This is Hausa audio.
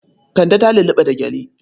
Kande ta lulluɓa da gyale.